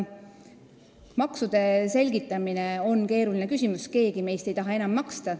Maksude selgitamine on keeruline, keegi meist ei taha rohkem maksta.